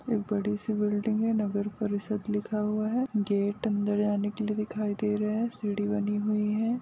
एक बड़ी सी बिल्डिंग है नगर परिषद लिखा हुआ है गेट अंदर जाने के लिए दिखाई दे रहे हैं सीढ़ी बनी हुई है।